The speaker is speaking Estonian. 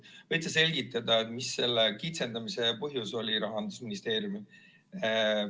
Võid sa selgitada, mis selle kitsendamise põhjus Rahandusministeeriumil oli?